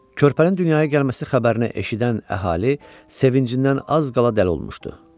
Körpənin dünyaya gəlməsi xəbərini eşidən əhali sevincindən az qala dəli olmuşdu.